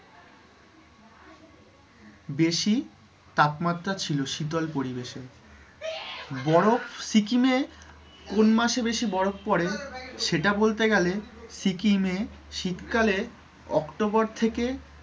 বেশি তাপমাত্রা ছিল শীতল পরিবেশে বরফ সিকিম এ কোন মাসে বেশি বরফ পড়ে সেটা বলতে গেলে সিকিম এ শীতকালে october থেকে,